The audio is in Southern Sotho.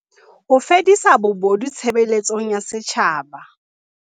Ho fedisa bobodu tshebeletsong ya setjhaba